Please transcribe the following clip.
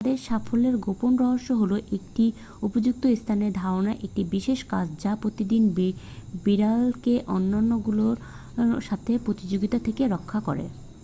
তাদের সাফল্যের গোপন রহস্য হল একটি উপযুক্ত স্থানের ধারণা একটি বিশেষ কাজ যা প্রতিটি বিড়ালকে অন্যগুলোর সাথে প্রতিযোগিতা থেকে রক্ষা করে